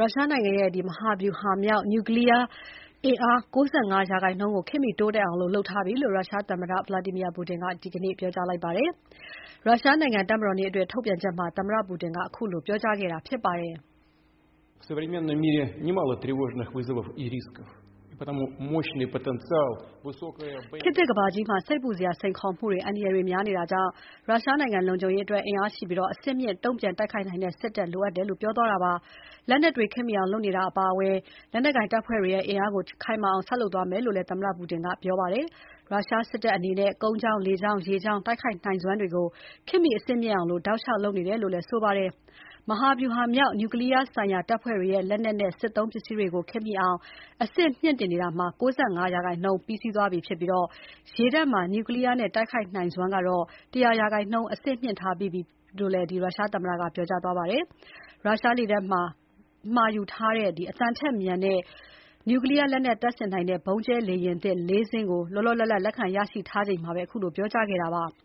ရုရှားနိုင်ငံရဲ့ မဟာဗျူဟာမြောက် နျူကလီးယား အင်အား ၉၅ ရာခိုင်နှုန်းကို ခေတ်မီတိုးတက်အောင် လုပ်ထားပြီလို့ ရုရှားသမ္မတ Vladimir Putin ကဒီနေ့ သောကြာနေ့မှာ ပြောကြားလိုက်ပါတယ်။ ရုရှားနိုင်ငံ တပ်မတော်နေ့အတွက် ထုတ်ပြန်ချက်မှာ သမ္မတ Putin ကခုလိုပြောလိုက်တာပါ။ "ခေတ်သစ်ကမ္ဘာကြီးမှာ စိတ်ပူစရာ စိန်ခေါ်မှုတွေ အန္တရာယ်တွေများနေတာကြောင့် ရုရှားနိုင်ငံလုံခြုံရေးအတွက် အင်အားရှိပြီး အဆင့်မြင့် တုံ့ပြန်တိုက်ခိုက်နိုင်တဲ့ စစ်တပ်လိုအပ်တယ်" လက်နက်တွေ ခေတ်မီအောင်လုပ်နေတာအပါအဝင် လက်နက်ကိုင်တပ်ဖွဲ့တွေရဲ့ အင်အားကို ခိုင်မာအောင် ဆက်လုပ်သွားမယ်လို့ သမ္မတ Putin ပြောကြားသွားတာဖြစ်ပါတယ်။ ရုရှားစစ်တပ်အနေနဲ့ ကုန်းကြောင်း၊ လေကြောင်း၊ ရေကြောင်း တိုက်ခိုက်နိုင်စွမ်းတွေကို ခေတ်မှီ အဆင့်မြင့်အောင် တောက်လျှောက်လုပ်နေတယ်လို့ သူကပြောပါတယ်။ မဟာဗျူဟာမြောက် နျူကလီးယား ဆိုင်ရာတပ်ဖွဲ့တွေရဲ့ လက်နက်နဲ့ စစ်သုံးပစ္စည်းတွေကို ခေတ်မှီအောင် အဆင့်မြှင့်တင်နေတာ ၉၅ ရာခိုင်နှုန်း ပြီးစီးသွားပြီဖြစ်ပြီး ရေတပ်မှာ နျူကလီးယားနဲ့ တိုက်ခိုက်နိုင်စွမ်းကတော့ ၁၀၀ ရာခိုင်နှုန်း အဆင့်မြှင့်ထားပြီးဖြစ်တယ်လို့ ရုရှားသမ္မတက ပြောကြားသွားပါတယ်။ ရုရှားလေတပ် မှာယူထားတဲ့ အသံထက်မြန်ပြီး နျူကလီးယား လက်နက်တပ်ဆင်နိုင်တဲ့ ဗုံးကြဲလေယာဉ်သစ် ၄ စင်းကို လောလောလတ်လတ် လက်ခံရရှိထားချိန်မှာ ခုလို ပြောကြားခဲ့တာပါ။